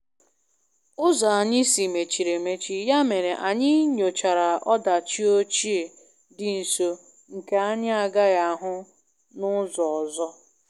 ụzọ anyị si mechiri emechi, ya mere anyị nyochara ọdachi ochie dị nso nke anyị agaghị ahụ n`ụzọ ọzọ.